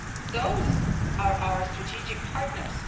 Those are our strategic partners.